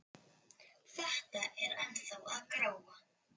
Þetta er ennþá að gróa.